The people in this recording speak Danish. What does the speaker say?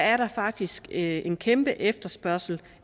er der faktisk en kæmpe efterspørgsel